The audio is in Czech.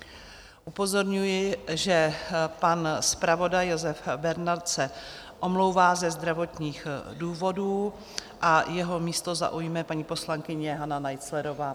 Upozorňuji, že pan zpravodaj Josef Bernard se omlouvá ze zdravotních důvodů a jeho místo zaujme paní poslankyně Hana Naiclerová.